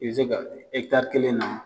I bi se ka kelen na